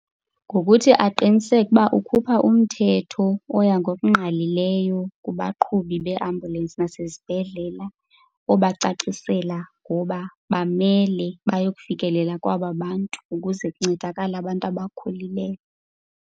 Ngokuthi aqiniseke ukuba ukhupha umthetho oya ngokungqalileyo kubaqhubi bee-ambulensi nasezibhedlela obacacisela ngoba bamele bayokufikelela kwaba bantu ukuze kuncedakale abantu abakhulileyo.